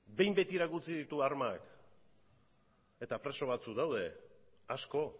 behin betirako utzi ditu armak eta preso batzuk daude asko